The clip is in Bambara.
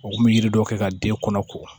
U kun bɛ yiri dɔ kɛ ka den kɔnɔ ko